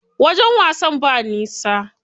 Wajen wasan ba nisa.